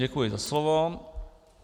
Děkuji za slovo.